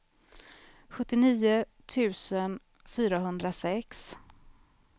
sjuttionio tusen fyrahundrasex